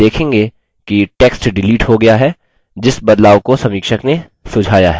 आप देखेंगे कि टेक्स्ट डिलीट हो गया है जिस बदलाव को समीक्षक ने सुझाया है